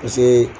Paseke